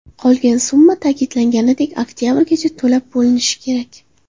Qolgan summa, ta’kidlanganidek, oktyabrgacha to‘lab bo‘linishi kerak.